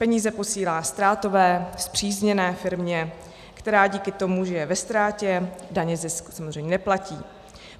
Peníze posílá ztrátové spřízněné firmě, která díky tomu, že je ve ztrátě, daně, zisk, samozřejmě neplatí.